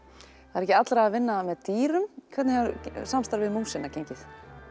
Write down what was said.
það er ekki allra að vinna með dýrum hvernig hefur samstarfið við músina gengið